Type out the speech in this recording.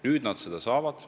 Nüüd nad selle saavad.